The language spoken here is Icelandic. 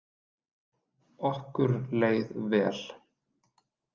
Okkur leið vel.